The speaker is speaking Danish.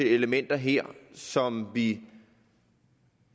er elementer her som vi